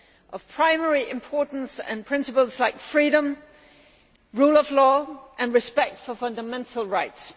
Of primary importance are principles like freedom, the rule of law and respect for fundamental rights.